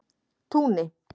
Túni